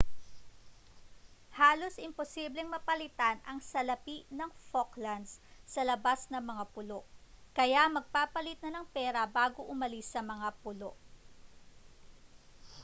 halos imposibleng mapalitan ang salapi ng falklands sa labas ng mga pulo kaya magpapalit na ng pera bago umalis sa mga pulo